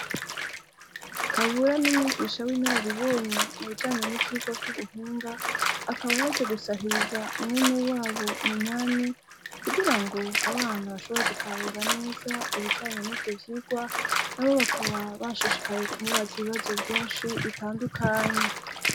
Kabura ni umwigisha w'inararibonye, mu bijanye n'ivyigwa vy'ubuhinga; akaba yaje gusahiriza mwenewabo Minani, kugira ngo abana bashobore gutahura neza ibijanye n'ivyo vyigwa. Nabo bakaba bashishikaye kumubaza ibibazo vyinshi bitandukanye.